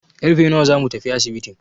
Karfe nawa zamu tafi asibitin?